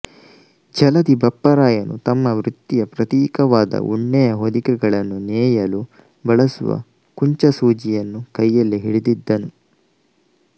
ಜಲಧಿ ಬಪ್ಪರಾಯನು ತಮ್ಮ ವೃತ್ತಿಯ ಪ್ರತೀಕವಾದ ಉಣ್ಣೆಯ ಹೊದಿಕೆಗಳನ್ನು ನೇಯಲು ಬಳಸುವ ಕುಂಚಸೂಜಿವನ್ನು ಕೈಯಲ್ಲಿ ಹಿಡಿದಿದ್ದನು